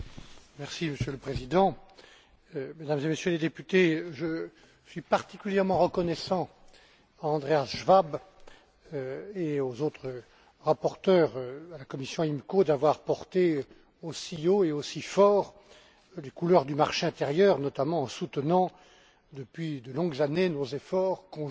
Monsieur le Président, Mesdames et Messieurs les Députés, je suis particulièrement reconnaissant à Andreas Schwab et aux autres rapporteurs de la commission IMCO d'avoir porté aussi haut et aussi fort les couleurs du marché intérieur, notamment en soutenant depuis de longues années nos efforts conjoints